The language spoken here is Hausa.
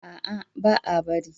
A'a, ba'a bari.